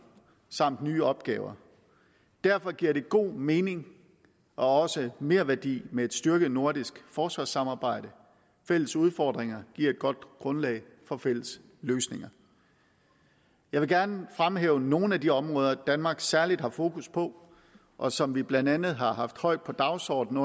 samt nye opgaver derfor giver det god mening og også merværdi med et styrket nordisk forsvarssamarbejde fælles udfordringer giver et godt grundlag for fælles løsninger jeg vil gerne fremhæve nogle af de områder som danmark særlig har fokus på og som vi blandt andet har haft højt på dagsordenen